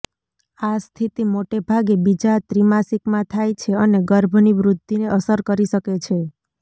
આ સ્થિતિ મોટેભાગે બીજા ત્રિમાસિકમાં થાય છે અને ગર્ભની વૃદ્ધિને અસર કરી શકે છે